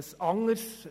Ich sehe das anders.